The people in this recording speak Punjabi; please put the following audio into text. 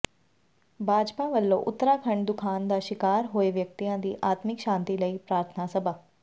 ਭਾਜਪਾ ਵੱਲੋਂ ਉੱਤਰਾਖੰਡ ਦੁਖਾਂਤ ਦਾ ਸ਼ਿਕਾਰ ਹੋਏ ਵਿਅਕਤੀਆਂ ਦੀ ਆਤਮਿਕ ਸ਼ਾਂਤੀ ਲਈ ਪ੍ਰਾਰਥਨਾ ਸਭਾ